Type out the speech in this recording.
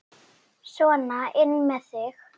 Sona inn með þig!